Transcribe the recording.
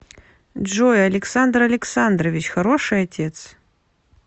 джой александр александрович хороший отец